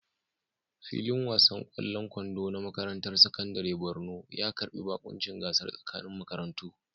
Filin wasan ƙwallon kwando na makarantar sakandaren Borno ya karbi baƙuncin gasar tsakanin makarantu.